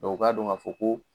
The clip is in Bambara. u k'a don ka fɔ ko.